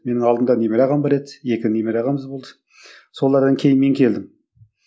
менің алдымда немере ағам бар еді екі немере ағамыз болды солардан кейін мен келдім